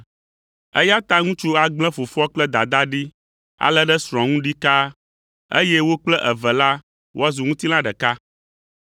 Eya ta ŋutsu agblẽ fofoa kple dadaa ɖi alé ɖe srɔ̃a ŋu ɖikaa, eye wo kple eve la woazu ŋutilã ɖeka.